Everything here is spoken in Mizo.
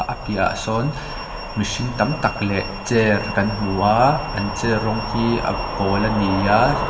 piahah sawn mihring tam tak leh chair kan hmu a an chair rawng hi a pawl ani a.